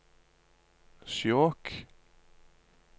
Skjåk